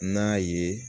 N'a ye